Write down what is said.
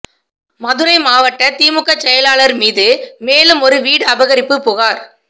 மதுரை மாவட்ட திமுக செயலாளர் மீது மேலும் ஒரு வீடு அபகரிப்பு புகார்